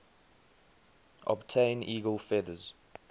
obtain eagle feathers